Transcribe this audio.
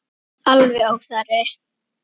Alger óþarfi.